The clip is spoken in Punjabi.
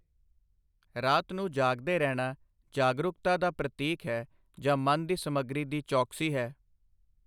ਰਾਤ ਨੂੰ ਜਾਗਦੇ ਰਹਿਣਾ ਜਾਗਰੂਕਤਾ ਦਾ ਪ੍ਰਤੀਕ ਹੈ ਜਾਂ ਮਨ ਦੀ ਸਮੱਗਰੀ ਦੀ ਚੌਕਸੀ ਹੈ।